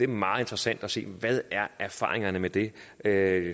meget interessant at se hvad erfaringerne med det er